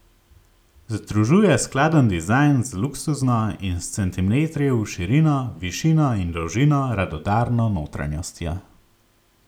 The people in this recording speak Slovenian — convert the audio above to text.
Združuje skladen dizajn z luksuzno in s centimetri v širino, višino in dolžino radodarno notranjostjo.